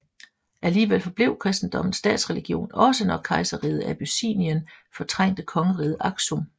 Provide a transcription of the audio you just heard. Alligevel forblev kristendommen statsreligion også når kejserriget Abyssinien fortrængte kongeriget Aksum